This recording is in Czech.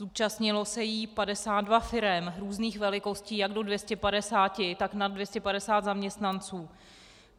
Zúčastnilo se jí 52 firem různých velikostí jak do 250, tak nad 250 zaměstnanců.